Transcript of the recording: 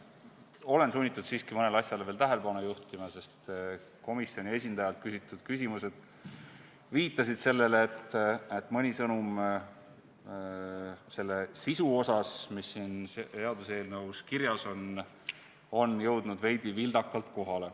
Ma olen sunnitud siiski mõnele asjale veel tähelepanu juhtima, sest komisjoni esindajalt küsitud küsimused viitasid sellele, et mõni sõnum selle sisu kohta, mis on siin seaduseelnõus kirjas, on jõudnud kohale veidi vildakalt.